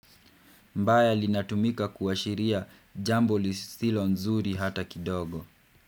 Mbaya linatumika kuashiria jambo lisilo nzuri hata kidogo.